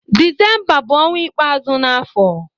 Disemba bu onwa ikpeazu n'afo.